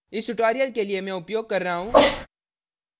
इस tutorial के लिए मैं उपयोग कर रहा हूँ